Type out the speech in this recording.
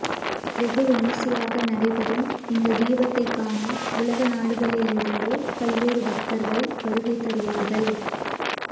வெகு விமரிசையாக நடைபெறும் இந்த தீபத்தை காண உலக நாடுகளிலிருந்து பல்வேறு பக்தர்கள் வருகை தருவார்கள்